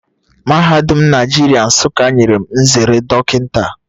Mahadum Naijiria Nsuka nyere m nzere dockinta